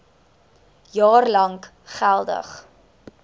jaar lank geldig